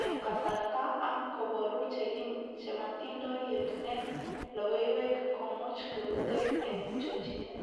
eng kasarta, ak kobaru chematindoi yetunet, logoiwek komuch keutee en chochinet